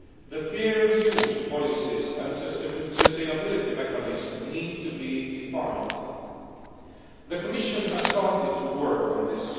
The fair-use policies and sustainability mechanisms need to be defined. The Commission has started to work on this.